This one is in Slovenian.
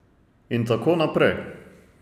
In tako naprej.